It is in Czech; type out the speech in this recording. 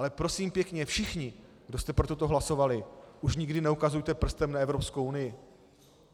Ale prosím pěkně všichni, kdo jste pro toto hlasovali, už nikdy neukazujte prstem na Evropskou unii,